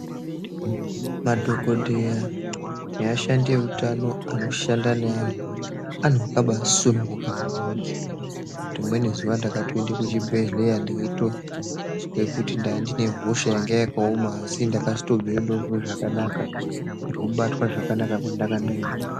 Madhokodheya neashandi eutano anoshanda neantu akabasununguka maningi. Rimweni zuwa ndakatoende kuchibhedhlera ndeitozwa kuti ndandine hosha yanga yakaoma asi ndakazotobveyo ndozozwe zvakanaka ngokubatwa zvakanaka kwandanga ndaitwa.